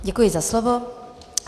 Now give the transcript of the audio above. Děkuji za slovo.